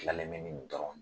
kilalen bɛ ni nin dɔrɔn